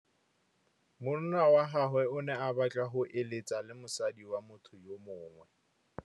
Monna wa gagwe o ne a batla go êlêtsa le mosadi wa motho yo mongwe.